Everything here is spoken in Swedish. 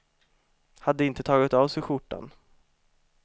Hade inte tagit av sig skjortan.